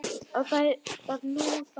Og það var nú það.